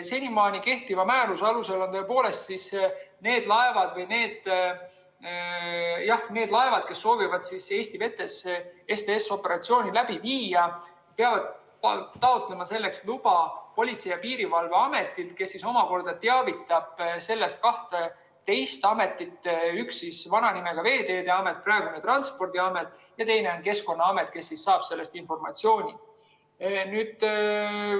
Senimaani kehtiva määruse alusel on need laevad, kes soovivad Eesti vetes STS‑operatsiooni läbi viia, pidanud taotlema selleks luba Politsei‑ ja Piirivalveametilt, kes omakorda teavitab sellest kaht teist ametit: üks neist on vana nimega Veeteede Amet, praegune Transpordiamet, ja teine on Keskkonnaamet, kes saab selle informatsiooni.